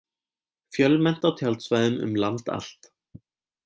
Fjölmennt á tjaldsvæðum um land allt